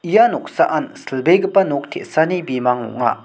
ia noksaan silbegipa nok te·sani bimang ong·a.